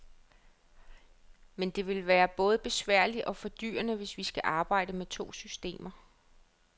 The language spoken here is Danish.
Men det vil både være besværligt og fordyrende, hvis vi skal arbejde med to systemer.